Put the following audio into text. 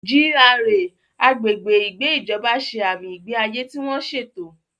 GRA (Agbègbè Ìgbé Ìjọba) ṣe àmì ìgbé ayé tí wọ́n ṣètò.